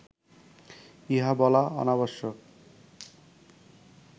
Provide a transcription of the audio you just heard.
ইহা বলা অনাবশ্যক